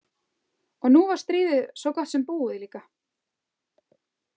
Og nú var stríðið svo gott sem búið líka.